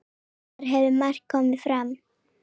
Þar hafi margt komið fram.